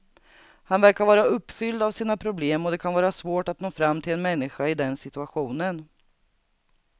Han verkar vara uppfylld av sina problem och det kan vara svårt att nå fram till en människa i den situationen.